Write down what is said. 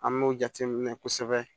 An m'o jate minɛ kosɛbɛ